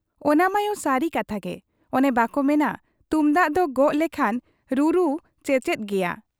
ᱼᱼᱚᱱᱟᱢᱟᱭᱚ ᱥᱟᱹᱨᱤ ᱠᱟᱛᱷᱟ ᱜᱮ ᱾ ᱚᱱᱮ ᱵᱟᱠᱚ ᱢᱮᱱᱟ ᱛᱩᱢᱫᱟᱹᱜ ᱫᱚ ᱜᱚᱜ ᱞᱮᱠᱷᱟᱱ ᱨᱩᱦᱚᱸ ᱪᱮᱪᱮᱫ ᱜᱮᱭᱟ ᱾